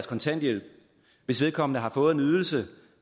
kontanthjælp hvis vedkommende har fået en ydelse